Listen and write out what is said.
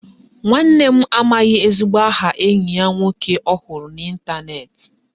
Nwanne m amaghị ezigbo aha enyi ya nwoke ọ hụrụ n'Ịntanet